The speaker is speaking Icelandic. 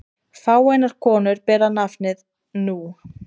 Fáeinar konur bera nafnið nú.